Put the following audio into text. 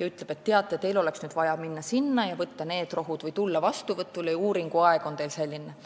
kes ütleb, et teil oleks nüüd vaja minna sinna ja võtta need rohud või tulla vastuvõtule ja uuringu aeg on teil selline.